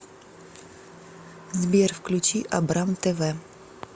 сбер включи абрам тэ вэ